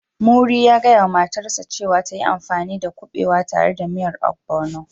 Muri ya gaya wa matarsa ​​cewa ta yi amfani dakuɓewa tare da miyan ogbono